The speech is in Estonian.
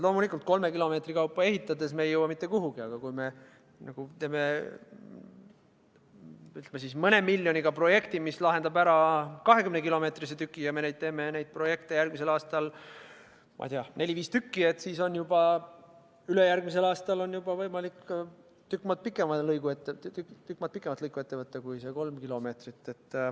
Loomulikult, kolme kilomeetri kaupa ehitades ei jõua me mitte kuhugi, aga kui me teeme mõne miljoni euroga projekti, mis lahendab ära 20-kilomeetrise lõigu, ja me teeme neid projekte järgmisel aastal neli-viis, siis on ülejärgmisel aastal võimalik ette võtta juba tükk maad pikem lõik kui kolm kilomeetrit.